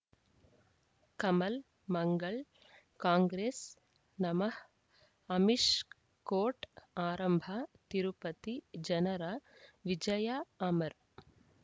ಕಮಲ್ ಮಂಗಳ್ ಕಾಂಗ್ರೆಸ್ ನಮಃ ಅಮಿಷ್ ಕೋರ್ಟ್ ಆರಂಭ ತಿರುಪತಿ ಜನರ ವಿಜಯ ಅಮರ್